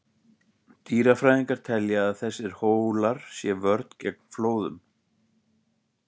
Dýrafræðingar telja að þessir hólar sé vörn gegn flóðum.